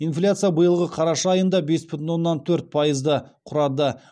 инфляция биылғы қараша айында бес бүтін оннан төрт пайызды құрады